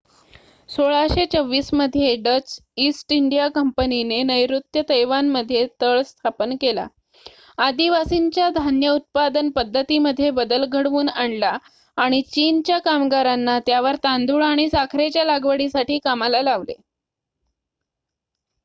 १६२४ मध्ये Dutch East India कंपनीने नैर्ऋत्य तैवानमध्ये तळ स्थापन केला आदिवासींच्या धान्य उत्पादन पद्धतीमध्ये बदल घडवून आणला आणि चीनच्या कामगारांना त्यावर तांदुळ आणि साखरेच्या लागवडीसाठी कामाला लावले